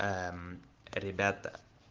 ребята